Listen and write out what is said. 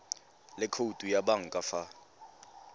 le khoutu ya banka fa